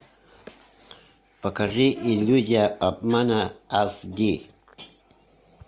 покажи иллюзия обмана аш ди